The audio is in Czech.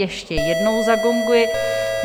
Ještě jednou zagonguji.